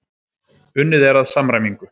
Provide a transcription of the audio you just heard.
Unnið er að samræmingu.